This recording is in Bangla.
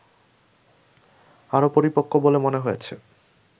আরো পরিপক্ক বলে মনে হয়েছে